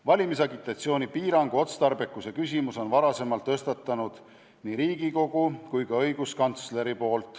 Valimisagitatsiooni piirangu otstarbekuse küsimuse on varasemalt tõstatanud nii Riigikogu kui ka õiguskantsler.